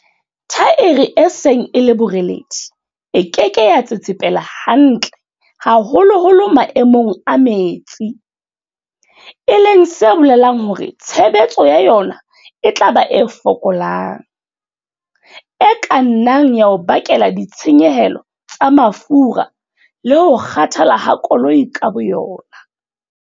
Thaere e seng e le boreledi e ke ke ya tsetsepela hantle haholoholo maemong a metsi, e leng se bolelang hore tshebetso ya yona e tla ba e fokolang, e ka nnang ya o bakela ditshenyehelo tsa mafura le ho kgathala ha koloi ka boyona.